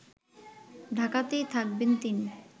ঢাকাতেই থাকবেন তিনি